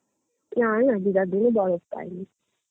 না না দেহরাদূন এ বরফ পাইনি